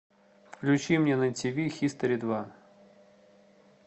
включи мне на тв хистори два